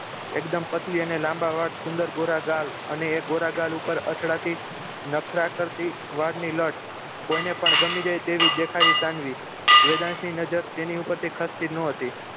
એકદમ પતલી અને લાંબા વાળ સુંદર ગોરા ગાલ અને એ ગોરા ગાલ પર અથડાતી નખરા કરતી વાળની લટ કોઈને પણ ગમી જાય તેવી દેખાય સાનવી વેદાંતની નજર તેની ઉપર થી ખસતી જ ન હતી